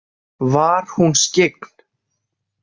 Var hún skyggn?